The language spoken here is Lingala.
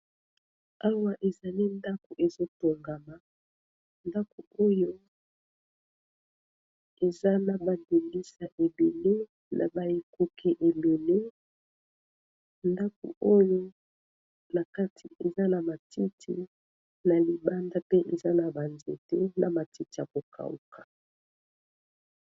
Awa ezali ndako ezotongama, ndako oyo eza na ba ndimbisa ebele na ba ekuke ebele ndako oyo na kati eza na matiti na libanda pe eza na ba nzete na matiti ya ko kauka.